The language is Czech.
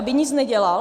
Aby nic nedělal?